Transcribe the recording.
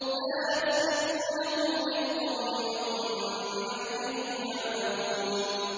لَا يَسْبِقُونَهُ بِالْقَوْلِ وَهُم بِأَمْرِهِ يَعْمَلُونَ